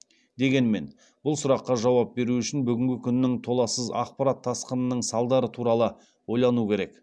дегенмен бұл сұраққа жауап беру үшін бүгінгі күннің толассыз ақпарат тасқынының салдары туралы ойлану керек